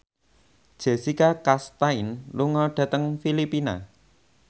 Jessica Chastain lunga dhateng Filipina